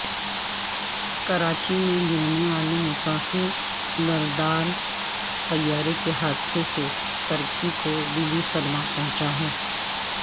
کراچی میں گرنے والے مسافر بردار طیارےکے حادثے سے ترکی کو دلی صدمہ پہنچا ہے